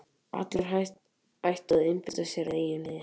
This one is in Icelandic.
Allir ættu að einbeita sér að eigin liði.